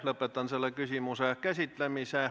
Lõpetan selle küsimuse käsitlemise.